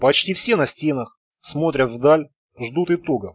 почти все на стенах смотрят вдаль ждут итога